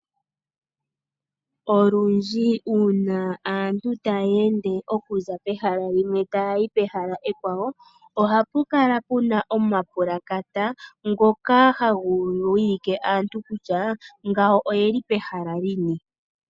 Olundji uuna aantu taya ende okuza pehala limwe ta yayi pehala ekwawo ohapu kala puna oma pulakata ngoka haga wilike aantu kutya ngawo oyeli pehala lini